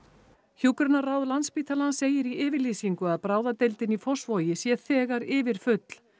hjúkrunarráð Landspítalans segir í yfirlýsingu að bráðadeildin í Fossvogi sé þegar yfirfull